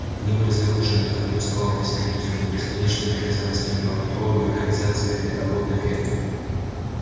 они были загружены как не уставал объяснять визгун бесконечными обязанностями по контролю и организации работ на ферме